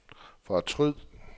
fortryd